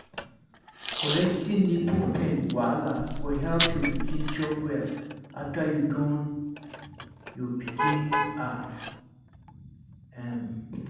correcting nipple pain wahala go help your pikin chop well after you don your pikin ah um